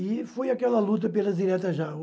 E foi aquela luta pelas diretas já.